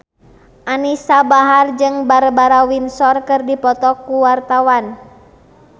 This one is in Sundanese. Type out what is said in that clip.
Anisa Bahar jeung Barbara Windsor keur dipoto ku wartawan